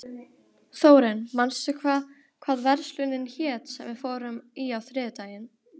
Þórinn, manstu hvað verslunin hét sem við fórum í á þriðjudaginn?